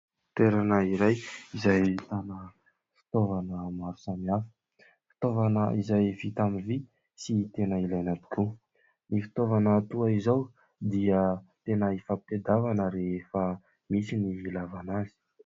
Toerana iray izay ahitana fitaovana maro samihafa. Fitaovana izay vita amin'ny vy sy tena ilaina tokoa. Ny fitaovana toa izao dia tena ifampitadiavana rehefa misy ny hilaivana azy.